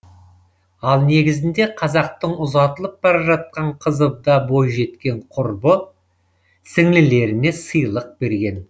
ал негізінде қазақтың ұзатылып бара жатқан қызы да бойжеткен құрбы сіңлілеріне сыйлық берген